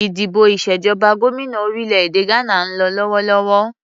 Ìdìbò ìṣèjọba gómìnà orílè-èdè Gbana ń lọ lọ́wọ́lọ́wọ́